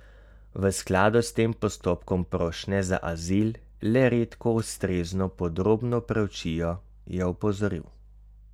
V skladu s tem postopkom prošnje za azil le redko ustrezno podrobno preučijo, je opozoril.